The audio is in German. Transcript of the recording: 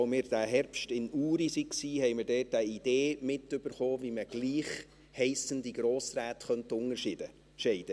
Als wir diesen Herbst in Uri waren, haben wir dort eine Idee mitbekommen, wie man gleich heissende Grossräte unterscheiden könnte.